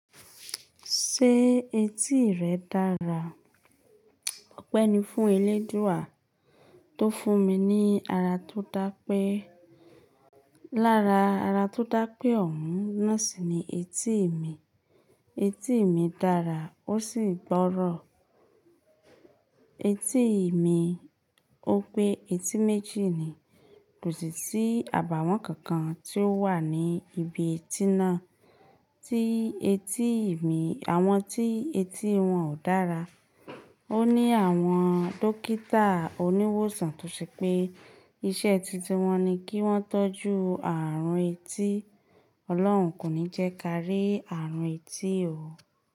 Ṣé etí rẹ dára? Ọpẹ́ ni fún eléèdúú wa tó fún mi ní ara tó dápé. Lára ara tó dápé ọ̀ún, naasì ni etí mi. Etí mi dára ó sì gbọ́rọ̀. Etí mi, ó pé etí méjì ni, kò sì sí àbàwọ́n kankan tí ó wà ní ibi etí náà tí etí mi, àwọn tí etí wọn ò dára. Ó ní àwọn dókítà oníwòsàn tó ṣe pé iṣẹ́ titun wọn ni kí wọ́n tọ́jú ààrùn etí. Ọlọ́run kò ní jẹ́ ká rí ààrùn etí o.